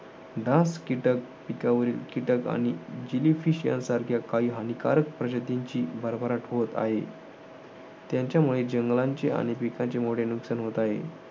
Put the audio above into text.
डास, कीटक, पिकावरील कीटक आणि जेलीफिश सारख्या काही हानिकारक प्रजातींची भरभराट होत आहे. त्यांच्यामुळे जंगलांचे आणि पिकांचे मोठे नुकसान होत आहे.